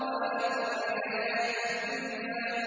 وَآثَرَ الْحَيَاةَ الدُّنْيَا